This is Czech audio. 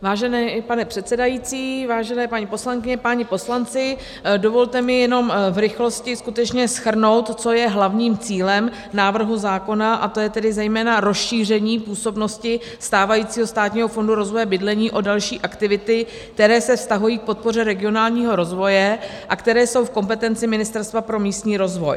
Vážený pane předsedající, vážené paní poslankyně, páni poslanci, dovolte mi jenom v rychlosti skutečně shrnout, co je hlavním cílem návrhu zákona, a to je tedy zejména rozšíření působnosti stávajícího Státního fondu rozvoje bydlení o další aktivity, které se vztahují k podpoře regionálního rozvoje a které jsou v kompetenci Ministerstva pro místní rozvoj.